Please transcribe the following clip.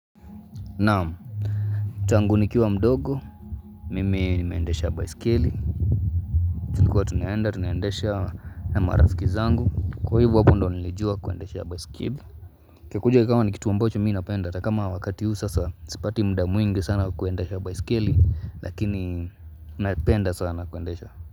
Naam Tangu nikiwa mdogo Mimi nimeendesha baiskeli tulikuwa tunaenda tunaendesha na marafiki zangu Kwa hivo hapo ndo nilijua kuendesha baisikili Kikuje kama ni kitu ambacho mi napenda hatakama wakati hu sasa sipati muda mwingi sana kuendesha baiskeli Lakini napenda sana kuendesha.